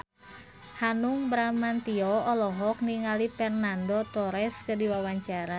Hanung Bramantyo olohok ningali Fernando Torres keur diwawancara